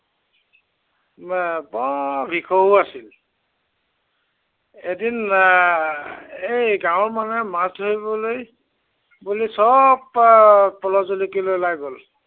এৰ বৰ ভিকহু আছিল। এদিন এৰ এই গাঁৱৰ মানুহে মাছ ধৰিবলৈ, বুলি সৱ এৰ পল' জুলুকি লৈ ওলাই গল।